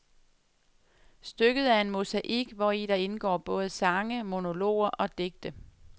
Stykket er en mosaik, hvori der indgår både sange, monologer og digte.